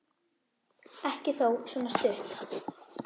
Ekki þó svona stutt.